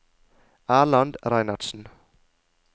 Erland Reinertsen